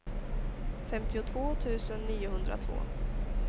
femtiotvå tusen niohundratvå